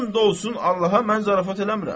And olsun Allaha, mən zarafat eləmirəm.